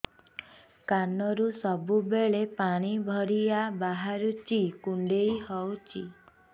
କାନରୁ ସବୁବେଳେ ପାଣି ଭଳିଆ ବାହାରୁଚି କୁଣ୍ଡେଇ ହଉଚି